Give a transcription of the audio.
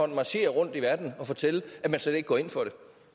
marchere rundt i verden og fortælle at man slet ikke går ind for